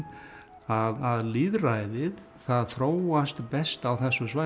að lýðræðið það þróast best á þessum svæðum